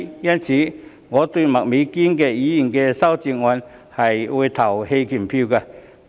因此，我會就麥美娟議員的修正案投棄權票。